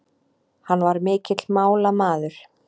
Hann var mikill málamaður.